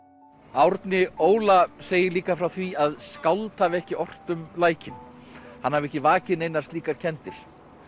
Árni Óla segir líka frá því að skáld hafi ekki ort um lækinn hann hafi ekki vakið neinar slíkar kenndir